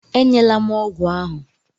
E nyela m ọgwụ ahụ!